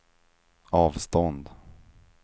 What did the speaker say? avstånd